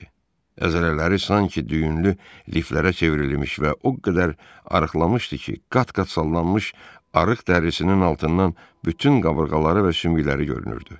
Əzələləri sanki düyünlü liflərə çevrilmiş və o qədər arıqlamışdı ki, qat-qat sallanmış arıq dərisinin altından bütün qabırğaları və şümükləri görünürdü.